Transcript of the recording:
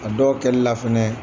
A dɔw kɛli la fɛnɛ